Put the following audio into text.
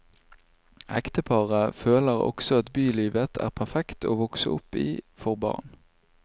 Ekteparet føler også at bylivet er perfekt å vokse opp i for barn.